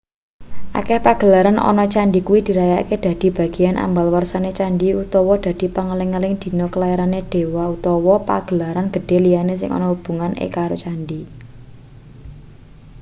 akeh pagelaran ana candhi kuwi dirayakne dadi bageyan ambal warsane candhi utawa dadi pangeling-eling dina kelairane dewa utawa pagelaran gedhe liyane sing ana hubungan ekaro candhi